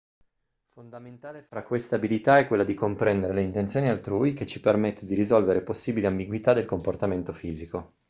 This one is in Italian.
fondamentale tra queste abilità è quella di comprendere le intenzioni altrui che ci permette di risolvere possibili ambiguità del comportamento fisico